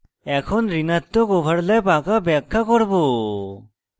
এখন ঋণাত্মক overlap আঁকা ব্যাখ্যা করব